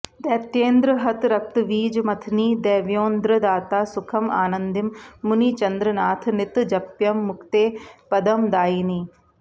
दैत्येन्द्रहतरक्तवीजमथनी देव्योन्द्रदाता सुखं आनन्दीं मुनिचन्द्रनाथनितजप्यं मुक्तेः पदं दायिनी